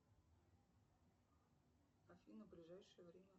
афина ближайшее время